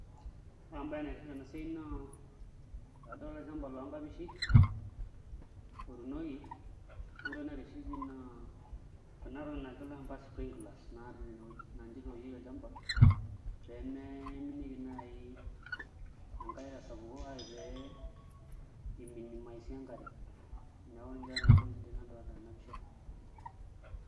Ore embaye naitiship tenabaye naa adolta olchamba loonkapishi otuunoki. Ore entoki naitiship pii naa kuna tokitin naajo ilashumba sprinklers naatii enewueji naa ninche itookieki olchamba pee mee iminieki naai enkare tesapuko ashu aa pee iminimisi enkare neeku ninche nanu entoki sidai nadolita tena pisha.